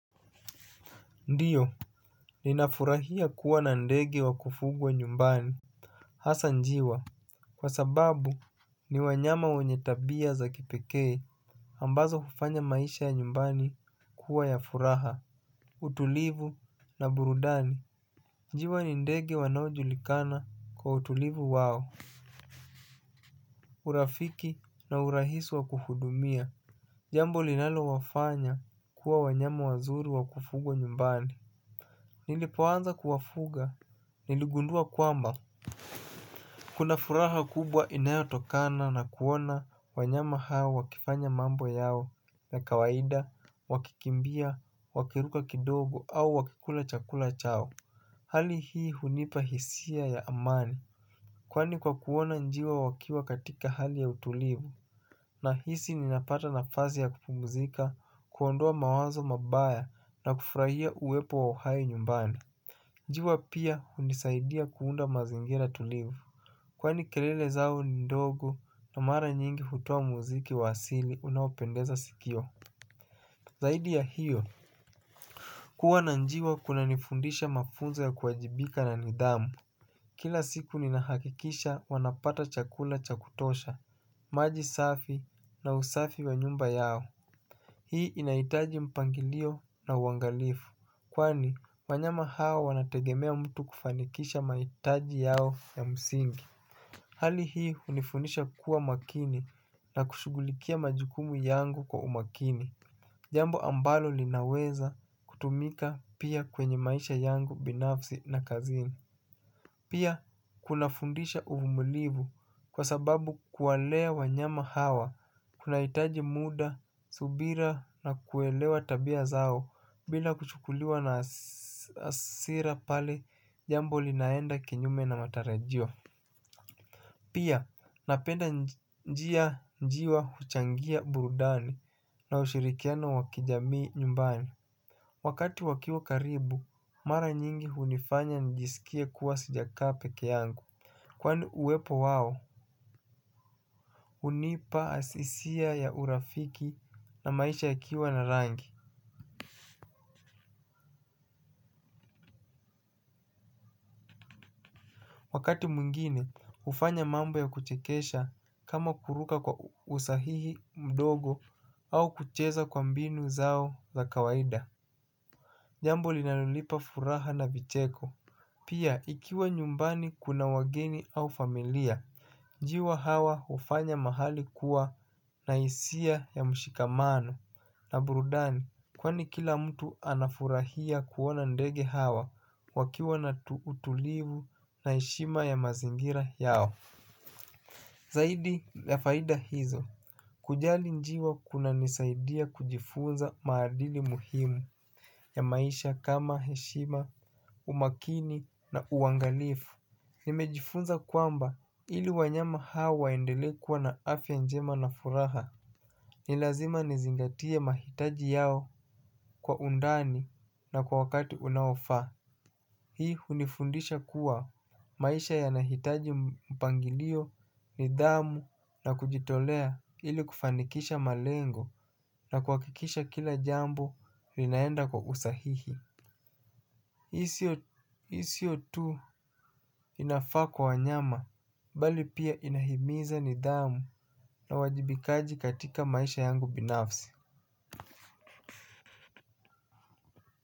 Ndiyo, ninafurahia kuwa na ndege wa kufugwa nyumbani. Hasa njiwa, kwa sababu ni wanyama wenye tabia za kipekee ambazo hufanya maisha ya nyumbani kuwa ya furaha. Utulivu na burudani. Njiwa ni ndege wanaojulikana kwa utulivu wao. Urafiki na urahisi wa kuhudumia. Jambo linalowafanya kuwa wanyama wazuri wa kufugwa nyumbani nilipoanza kuwafuga niligundua kwamba kuna furaha kubwa inayotokana na kuona wanyama hao wakifanya mambo yao ya kawaida, wakikimbia, wakiruka kidogo au wakikula chakula chao. Hali hii hunipa hisia ya amani. Kwani kwa kuona njiwa wakiwa katika hali ya utulivu nahisi ninapata nafasi ya kupumzika, kuondoa mawazo mabaya na kufurahia uwepo wa uhai nyumbani. Njiwa pia hunisaidia kuunda mazingira tulivu. Kwani kelele zao ni ndogo na mara nyingi hutoa muziki wa asili unaopendeza sikio. Zaidi ya hiyo kuwa na njiwa kunanifundisha mafunzo ya kuwajibika na nidhamu. Kila siku ninahakikisha wanapata chakula cha kutosha, maji safi na usafi wa nyumba yao. Hii inahitaji mpangilio na uangalifu kwani, wanyama hawa wanategemea mtu kufanikisha mahitaji yao ya msingi. Hali hii hunifundisha kuwa makini na kushughulikia majukumu yangu kwa umakini. Jambo ambalo linaweza kutumika pia kwenye maisha yangu binafsi na kazini. Pia, kunafundisha uvumilivu, kwa sababu kuwalea wanyama hawa kunahitaji muda, subira na kuelewa tabia zao. Bila kuchukuliwa na hasira pale jambo linaenda kinyume na matarajio. Pia napenda njiwa, njiwa huchangia burudani na ushirikiano wa kijamii nyumbani. Wakati wakiwa karibu, mara nyingi hunifanya nijisikie kuwa sijakaa peke yangu. Kwani uwepo wao, hunipa hisia ya urafiki na maisha yakiwa na rangi. Wakati mwingine, hufanya mambo ya kuchekesha kama kuruka kwa usahihi mdogo au kucheza kwa mbinu zao za kawaida. Jambo linalonipa furaha na vicheko. Pia, ikiwa nyumbani kuna wageni au familia njiwa hawa hufanya mahali kuwa na hisia ya mshikamano na burudani kwani kila mtu anafurahia kuona ndege hawa wakiwa na utulivu na heshima ya mazingira yao. Zaidi ya faida hizo, kujali njiwa kunanisaidia kujifunza maadili muhimu ya maisha kama heshima, umakini na uangalifu. Nimejifunza kwamba ili wanyama hawa waendelee kuwa na afya njema na furaha. Ni lazima nizingatie mahitaji yao kwa undani na kwa wakati unaofaa. Hii hunifundisha kuwa maisha yanahitaji mpangilio nidhamu na kujitolea ili kufanikisha malengo na kuhakikisha kila jambo linaenda kwa usahihi. Hii sio tu inafaa kwa wanyama bali pia inahimiza nidhamu na uwajibikaji katika maisha yangu binafsi.